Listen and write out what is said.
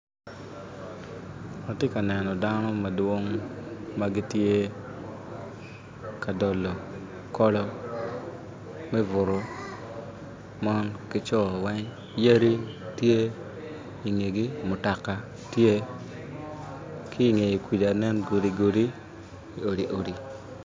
Atye ka neno dano madwong ma gitye ka dolo kolo me butu mon ki co weng yadi tye i ngegi mutoka tye ki i nge kuja tye godi godi odi odi